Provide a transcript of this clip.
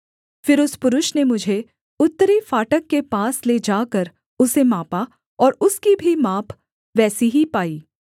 फिर उस पुरुष ने मुझे उत्तरी फाटक के पास ले जाकर उसे मापा और उसकी भी माप वैसी ही पाई